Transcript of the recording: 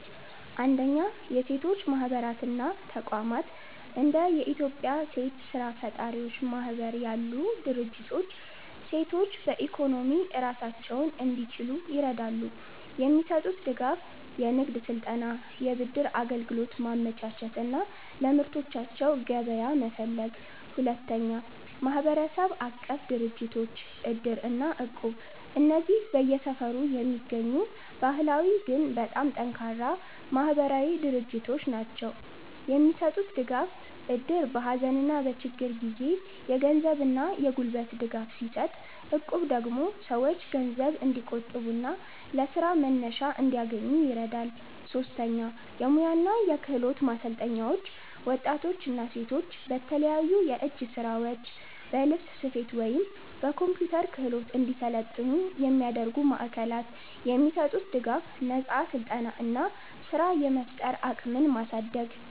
1. የሴቶች ማህበራት እና ተቋማት እንደ የኢትዮጵያ ሴት ስራ ፈጣሪዎች ማህበር ያሉ ድርጅቶች ሴቶች በኢኮኖሚ ራሳቸውን እንዲችሉ ይረዳሉ። የሚሰጡት ድጋፍ፦ የንግድ ስልጠና፣ የብድር አገልግሎት ማመቻቸት እና ለምርቶቻቸው ገበያ መፈለግ። 2. ማህበረሰብ-አቀፍ ድርጅቶች (እድር እና እቁብ) እነዚህ በየሰፈሩ የሚገኙ ባህላዊ ግን በጣም ጠንካራ ማህበራዊ ድርጅቶች ናቸው። የሚሰጡት ድጋፍ፦ እድር በሀዘንና በችግር ጊዜ የገንዘብና የጉልበት ድጋፍ ሲሰጥ፣ እቁብ ደግሞ ሰዎች ገንዘብ እንዲቆጥቡና ለስራ መነሻ እንዲያገኙ ይረዳል። 3. የሙያ እና የክህሎት ማሰልጠኛዎች ወጣቶችና ሴቶች በተለያዩ የእጅ ስራዎች፣ በልብስ ስፌት ወይም በኮምፒውተር ክህሎት እንዲሰለጥኑ የሚያደርጉ ማዕከላት። የሚሰጡት ድጋፍ፦ ነፃ ስልጠና እና ስራ የመፍጠር አቅምን ማሳደግ።